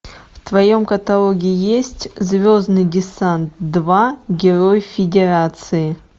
в твоем каталоге есть звездный десант два герой федерации